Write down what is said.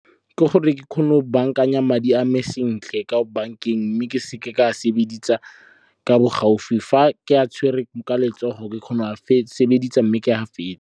Ke gore ke kgone go bankanya madi a me sentle ko bankeng, mme ke seke ka a sebedisa ka bo gaufi fa ke a tshwerwe ka letsogo ke kgona sebedisa mme ke a fetse.